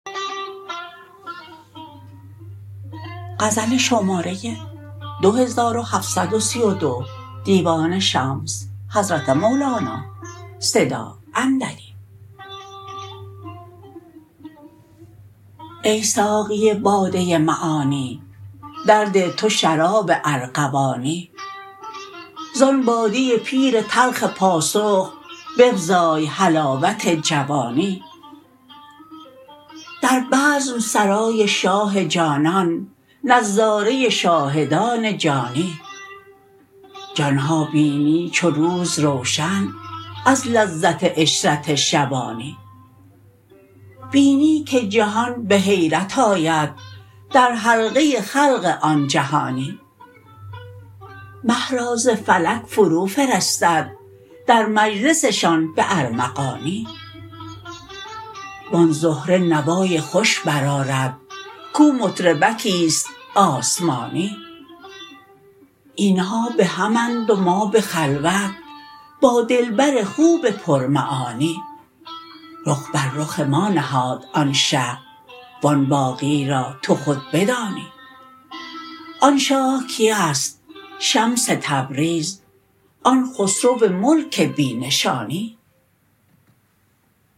ای ساقی باده معانی درده تو شراب ارغوانی زان باده پیر تلخ پاسخ بفزای حلاوت جوانی در بزم سرای شاه جانان نظاره شاهدان جانی جان ها بینی چو روز روشن از لذت عشرت شبانی بینی که جهان به حیرت آید در حلقه خلق آن جهانی مه را ز فلک فروفرستد در مجلسشان به ارمغانی و آن زهره نوای خوش برآورد کو مطرب کیست آسمانی این ها به همند و ما به خلوت با دلبر خوب پرمعانی رخ بر رخ ما نهاد آن شه و آن باقی را تو خود بدانی آن شاه کیست شمس تبریز آن خسرو ملک بی نشانی